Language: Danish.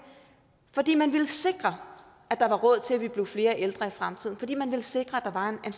fordi man ville sikre at der var råd til at vi blev flere ældre i fremtiden fordi man ville sikre at der var en